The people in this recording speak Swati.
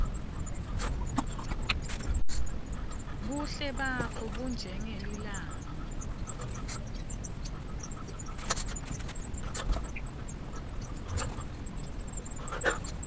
buhle bakho bunjengelilanga